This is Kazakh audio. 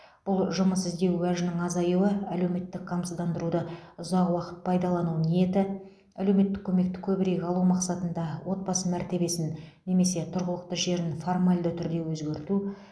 бұл жұмыс іздеу уәжінің азаюы әлеуметтік қамсыздандыруды ұзақ уақыт пайдалану ниеті әлеуметтік көмекті көбірек алу мақсатында отбасы мәртебесін немесе тұрғылықты жерін формальды түрде өзгерту